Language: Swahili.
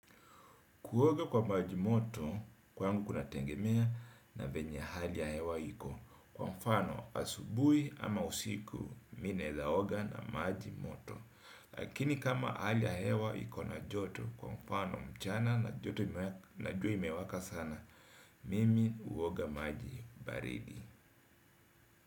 Kuoga kwa maji moto, kwangu kunategemea na venye hali ya hewa iko. Kwa mfano, asubuhi ama usiku, mi naeza oga na maji moto. Lakini kama hali ya hewa iko na joto, kwa mfano mchana na joto na jua imewaka sana, mimi huoga maji baridi.